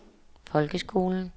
folkeskolen